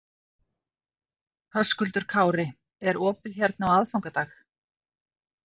Höskuldur Kári: Er opið hérna á aðfangadag?